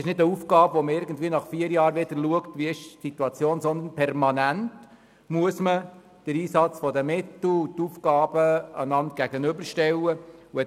Es ist nicht eine Aufgabe, welche man alle vier Jahre wahrnimmt, sondern der Einsatz der Mittel und die Aufgaben müssen permanent einander gegenübergestellt werden.